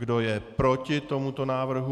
Kdo je proti tomuto návrhu?